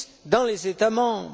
dans les États membres.